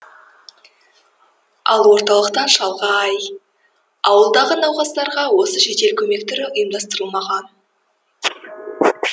ал орталықтан шалғай ауылдағы науқастарға осы жедел көмек түрі ұйымдастырылмаған